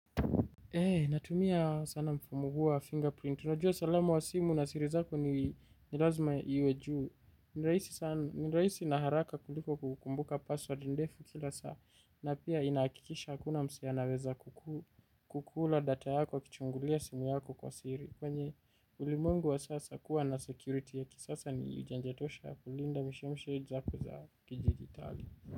Ee, natumia sana mfumo huo wa fingerprint. Unajua salama wa simu na siri zako ni lazima iwe juu. Ni rahisi sana haraka kuliko kukumbuka password ndefu kila saa. Na pia inahakikisha hakuna msee anaweza kukula data yako, kichungulia simu yako kwa siri. Kwenye ulimwengu wa sasa kuwa na security yaki. Sasa ni ujanje tosha kulinda mshemshe zako za kidijitali.